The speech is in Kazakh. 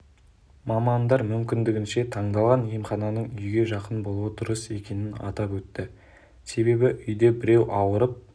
мамандар мүмкіндігінше таңдалған емхананың үйге жақын болуы дұрыс екенін атап өтті себебі үйде біреу ауырып